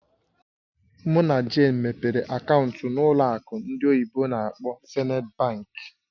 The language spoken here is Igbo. Mụ na Jane mepere akaụntụ ọnụ n'ụlọ akụ ndị oyibo n'akpọ "Zenith Bank".